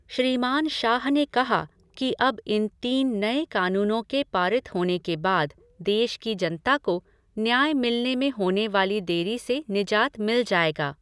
श्रीमान शाह ने कहा कि अब इन तीन नए कानूनों के पारित होने के बाद देश की जनता को न्याय मिलने में होने वाली देरी से निजात मिल जाएगा।